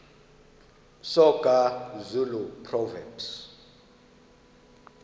soga zulu proverbs